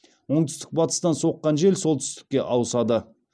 оңтүстік батыстан соққан жел солтүстікке ауысады